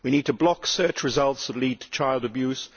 We need to block search results that lead to child abuse.